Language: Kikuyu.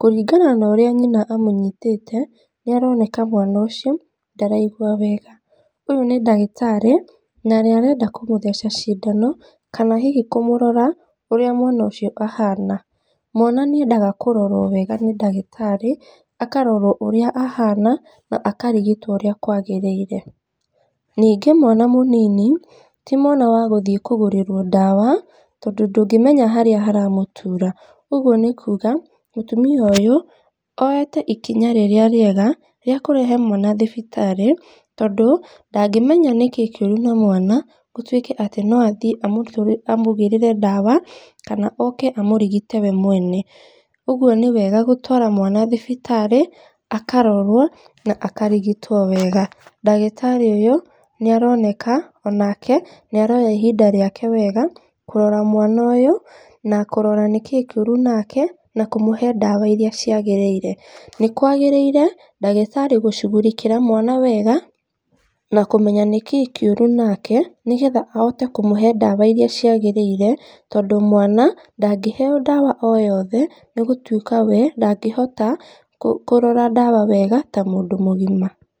kũringana na ũrĩa nyina amũnyitĩte, nĩ aroneka mwana ũcio ndaraigua wega. Ũyũ nĩ ndagitarĩ na nĩarenda kũmũtheca cindano kana hihi kũmũrora ũrĩa mwana ũcio ahaana. Mwana nĩ endaga kũrorwo weega nĩ ndagĩtarĩ akarorwo ũrĩa ahaana na akarigitwo ũrĩa kwagĩrĩire. Nĩngĩ mwana mũnini ti mwana wa gũthiĩ kũgũrĩrwo ndawa tondũ ndũngĩmenya harĩa haramũtuura. Ũguo nĩ kuga mũtumia ũyũ oete ikinya rĩrĩa rĩega rĩa kũrehe mwana thibitarĩ tondũ ndangĩmenya nikĩĩ kĩũru na mwana gũtuike atĩ no athiĩ amũgĩrĩre ndawa kana ooke amũrigite we mwene. Ũguo nĩwega gũtwara mwana thibitarĩ akarorwo na akarigitwo weega, ndagĩtarĩ ũyũ nĩaroneka onake nĩaroya ihinda rĩake wega kũrora mwana ũyũ na kũrora nĩkĩĩ kĩũru nake na kũmũhe ndawa iria ciagĩrĩire. Nĩ kwagĩrĩire ndagĩtarĩ gũcugurikĩra mwana wega, na kũmenya nĩkĩĩ kĩũru nake na kũmũhe ndawa iria ciagĩrĩire, tondũ mwana ndangĩhe o ndawa oyothe nĩ gũtuĩka we ndangĩhota kũrora ndawa wega ta mũndũ mũgima.